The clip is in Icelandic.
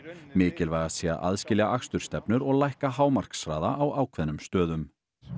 mikilvægast sé að aðskilja akstursstefnur og lækka hámarkshraða á ákveðnum stöðum